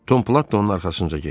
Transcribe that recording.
Tomplat da onun arxasınca getdi.